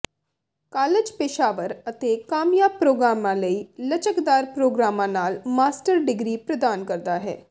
college ਪੇਸ਼ਾਵਰ ਅਤੇ ਕਾਮਯਾਬ ਪ੍ਰੋਗਰਾਮਾਂ ਲਈ ਲਚਕਦਾਰ ਪ੍ਰੋਗਰਾਮਾਂ ਨਾਲ ਮਾਸਟਰ ਡਿਗਰੀ ਪ੍ਰਦਾਨ ਕਰਦਾ ਹੈ